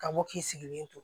Ka bɔ k'i sigilen to